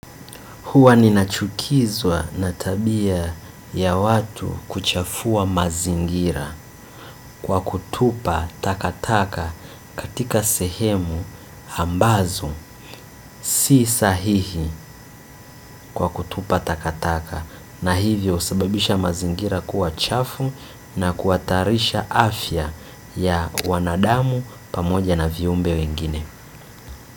Huwa ninachukizwa na tabia ya watu kuchafua mazingira kwa kutupa takataka katika sehemu ambazo. Si sahihi kwa kutupa takataka na hivyo husababisha mazingira kuwa chafu na kuhatarisha afya ya wanadamu pamoja na viumbe wengine.